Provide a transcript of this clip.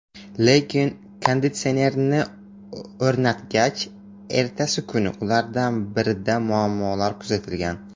Lekin konditsionerni o‘rnatgach, ertasi kuni ulardan birida muammolar kuzatilgan.